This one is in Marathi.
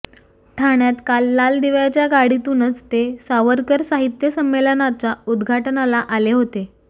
ठाण्यात काल लालदिव्याच्या गाडीतूनच ते सावरकर साहित्य संमेलनाच्या उद्घाटनाला आले होते